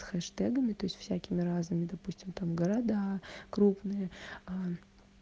с хештагми там всякими разными допустим там города крупные аа